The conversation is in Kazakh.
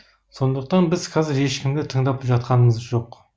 сондықтан біз қазір ешкімді тыңдап жатқанымыз жоқ